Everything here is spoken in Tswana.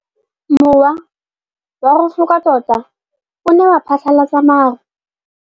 Mowa o wa go foka tota o ne wa phatlalatsa maru.